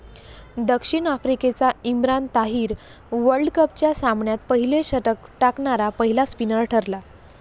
दक्षिण आफ्रिकेचा इम्रान ताहिर वर्ल्डकपच्या सामन्यात पहिले षटक टाकणारा पहिला स्पिनर ठरला.